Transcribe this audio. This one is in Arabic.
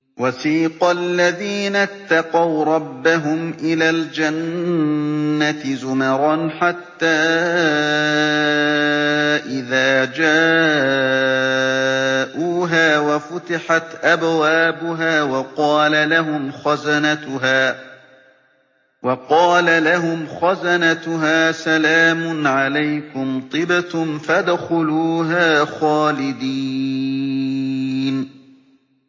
وَسِيقَ الَّذِينَ اتَّقَوْا رَبَّهُمْ إِلَى الْجَنَّةِ زُمَرًا ۖ حَتَّىٰ إِذَا جَاءُوهَا وَفُتِحَتْ أَبْوَابُهَا وَقَالَ لَهُمْ خَزَنَتُهَا سَلَامٌ عَلَيْكُمْ طِبْتُمْ فَادْخُلُوهَا خَالِدِينَ